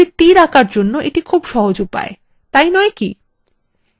একটি তীর আঁকার জন্য এটা একটি সহজ উপায় তাই নয় কি